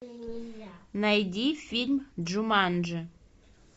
найди фильм джуманджи